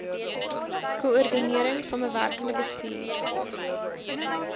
koördinering samewerkende bestuur